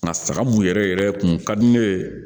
Nka saga mun yɛrɛ yɛrɛ kun ka di ne ye